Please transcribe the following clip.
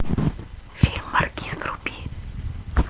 фильм маркиз вруби